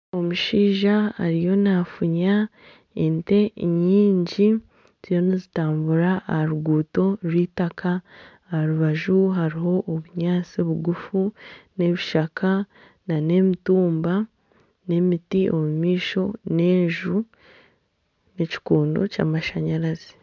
Omushaija ariyo nafunya ente nyingi ziriyo nizitambura aha ruguuto rw'eitaka aha rubaju hariho obunyaantsi bugufu n'ebishaka nana emiti , nana emitumba n'emiti omu maisho n'enju, n'ekikondo ky'amashanyarazi.